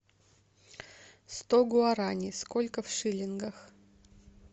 сто гуарани сколько в шиллингах